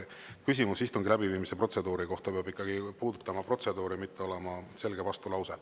Küsimus istungi läbiviimise protseduuri kohta peab ikkagi puudutama protseduuri, see ei peaks olema selge vastulause.